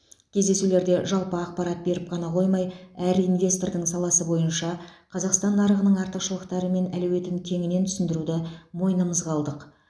кездесулерде жалпы ақпарат беріп қана қоймай әр инвестордың саласы бойынша қазақстан нарығының артықшылықтары мен әлеуетін кеңінен түсіндіруді мойнымызға алдық